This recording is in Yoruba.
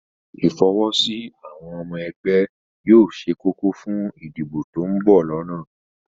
Ìfọwọ́sí àwọn ọmọ ẹgbẹ́ yóò ṣe kókó fún ìdìbò tí ó ń bọ̀ lọ́nà